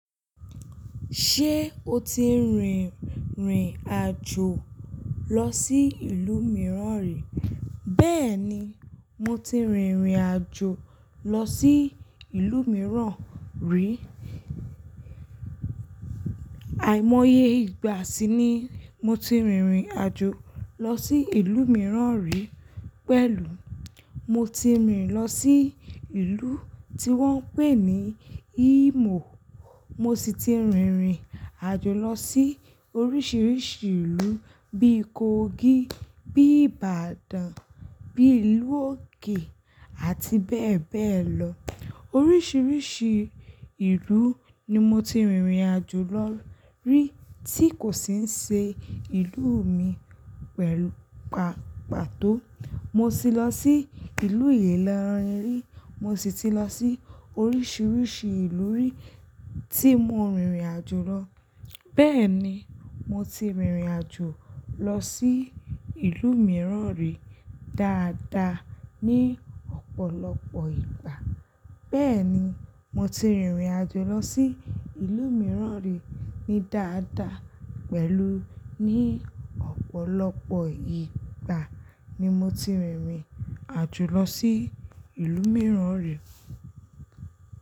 Ṣé o ti rìrìn àjò lọ sí ìlú mìíràn rí? Bẹ́ẹ̀ni, mo ti rìrìn àjò lọ sí ìlú mìíràn rí. Àìmọye ìgbà sí ni mo ti rìrìn àjò lọ sí ìlú mìíràn rí pẹ̀lú mo ti rìn lọ sí ìlú tí wọ́n ń pè ní Imo. Mo sì ti rìrìn àjò lọ sí oríṣiríṣi ìlú bíi Kogi, bíi Ibadan, bíi lú òkè àti bẹ́ẹ̀ bẹ́ẹ̀ lọ. Oríṣiríṣi ìlú ni mo ti rìrìn àjò lọ rí tí kò sì ṣe ìlú mi pẹ̀lú pàápàá tó. Mo sì lọ sí ìlú Ilorin rí, mo sì ti lọ sí oríṣiríṣi ìlú rí tí mo rìrìn àjò lọ. Bẹ́ẹ̀ ni, mo ti rìrìn àjò lọ sí ìlú mìíràn rí dáadáa ní ọ̀pọ̀lọpọ̀ ìgbà. Bẹ́ẹ̀ ni, mo ti rìrìn àjò lọ sí ìlú mìíràn rí ní dáadáa pẹ̀lú ní ọ̀pọ̀lọpọ̀ ìgbà ni mo ti rìrìn àjò lọ sí ìlú mìíràn rí.